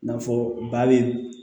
I n'a fɔ ba bɛ